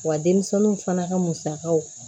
Wa denmisɛnninw fana ka musakaw